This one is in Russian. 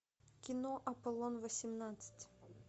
кино аполлон восемнадцать